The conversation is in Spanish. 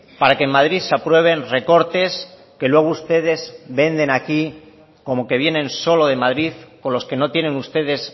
para que en madrid se aprueben recortes que luego ustedes venden aquí como que vienen solo de madrid con los que no tienen ustedes